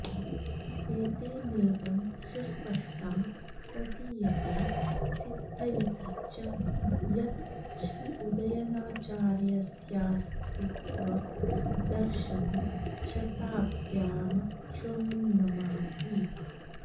एतेनेदं सुस्पष्टं प्रतीयते सिद्धयति च यत् श्रीउदयनाचार्यस्याऽस्तित्वं दर्शमशताब्द्यामक्षुण्णमासीत्